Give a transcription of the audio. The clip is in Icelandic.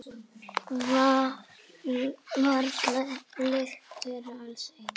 Varla lykta þeir allir eins.